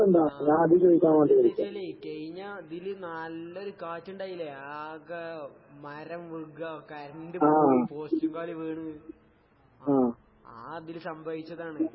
ആഹ് അതെന്താന്നു വച്ചാല് കഴിഞ്ഞ ഇതില് നല്ലൊരു കാറ്റിണ്ടായില്ലേ, ആകെ മരം വീഴ്കേം, കറന്റ് പോയ്, പോസ്റ്റ് കാല് വീണ് ആഹ് ആ ഇതില് സംഭവിച്ചതാണ്.